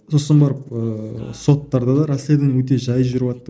сосын барып ыыы соттар да расследование өте жай жүріватты